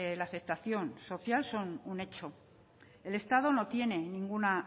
la aceptación social son un hecho el estado no tiene ninguna